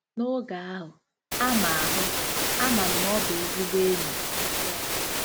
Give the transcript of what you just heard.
N'oge ahụ, ama ahụ, ama m na ọ bụ ezigbo enyi! ” —Lena.